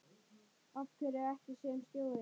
Af hverju ekki sem stjóri?